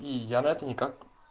и я на это никак